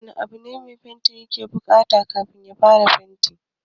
Wani abu ne mai fenti ya ke buƙata kafin ya fara?